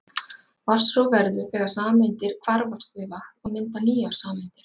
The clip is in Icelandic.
vatnsrof verður þegar sameindir hvarfast við vatn og mynda nýjar sameindir